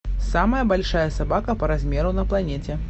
самая большая собака по размеру на планете